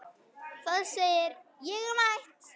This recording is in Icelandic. Það segir: Ég er mætt!